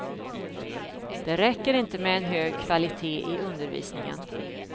Det räcker inte med en hög kvalitet i undervisningen.